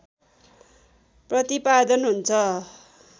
प्रतिपादन हुन्छ